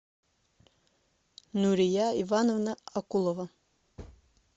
нурия ивановна акулова